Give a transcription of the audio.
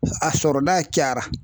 A sɔrɔta cayara